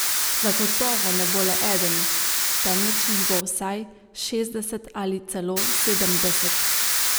Zagotovo ne bo le eden, temveč jih bo vsaj šestdeset ali celo sedemdeset.